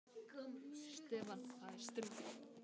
Stefán, það er stríð.